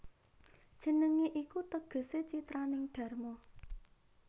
Jenengé iku tegesé citraning dharma